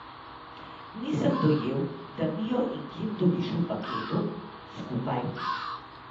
Nisem dojel, da Mio in Kim dobiš v paketu, skupaj.